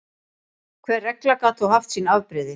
Hver regla gat þó haft sín afbrigði.